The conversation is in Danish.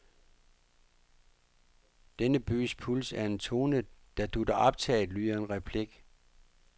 Denne bys puls er en tone, der dutter optaget, lyder en replik.